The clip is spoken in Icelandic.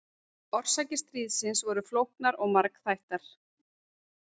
Orsakir stríðsins voru flóknar og margþættar.